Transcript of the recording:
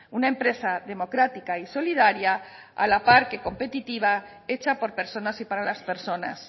una empresa democrática y solidaria a la par que competitiva hecha por personas y para las personas